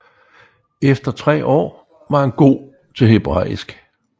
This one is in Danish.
Efter tre år var han god til hebræisk